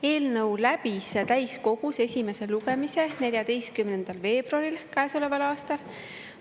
Eelnõu läbis täiskogus esimese lugemise 14. veebruaril käesoleval aastal.